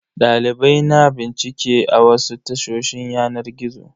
Dalibai na bincike a wasu tashoshin yanar gizo.